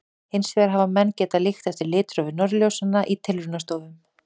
Hins vegar hafa menn getað líkt eftir litrófi norðurljósanna í tilraunastofum.